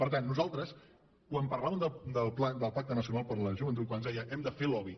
per tant nosaltres quan parlàvem del pacte nacional de joventut quan ens deia hem de fer lobby